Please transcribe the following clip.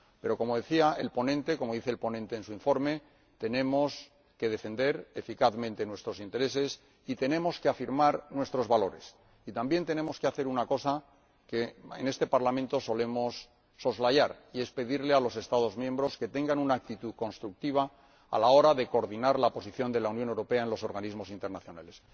Pero ―como dice el ponente en su informe― tenemos que defender eficazmente nuestros intereses y tenemos que afirmar nuestros valores y también tenemos que hacer una cosa que en este Parlamento solemos soslayar y es pedir a los Estados miembros que tengan una actitud constructiva a la hora de coordinar la posición de la Unión Europea en los organismos internacionales.